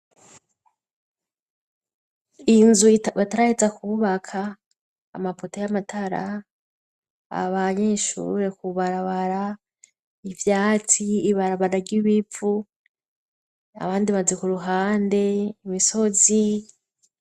Inzu bataraheza kwubaka amapoto y'amatara, abanyeshure kubarabara ivyatsi, ibarabara ry'ibivu ahandi amazu ku ruhande, imisozi.